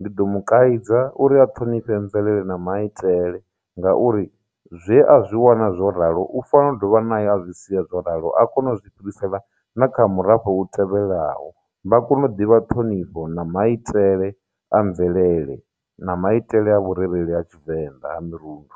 ndi ḓo mu kaidza uri a ṱhonifhe mvelele na maitele ngauri zwe a zwi wana zwo ralo u fanelo dovha na ye a zwi sia zwo ralo a kone u zwi fhirisela na kha murafho u tevhelaho vha kone u ḓivha ṱhonifho na maitele a mvelele na maitele a vhurereli a tshivenḓa ha mirundu.